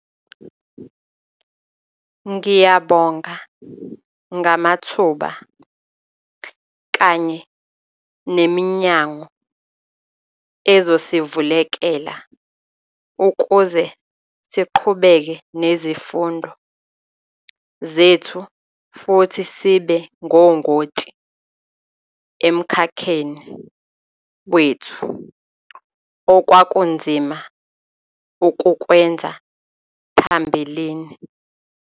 "Ngiyabonga ngamathuba kanye neminyango ezosivulekela ukuze siqhubeke nezifundo zethu futhi sibe ngongoti emkhakheni wethu, okwakunzima ukukwenza phambilini."